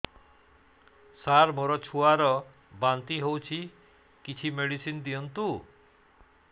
ସାର ମୋର ଛୁଆ ର ବାନ୍ତି ହଉଚି କିଛି ମେଡିସିନ ଦିଅନ୍ତୁ